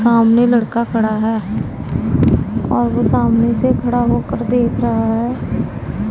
सामने लड़का खड़ा है और वो सामने से खड़ा होकर देख रहा है।